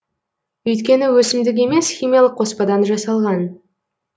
өйткені өсімдік емес химиялық қоспадан жасалған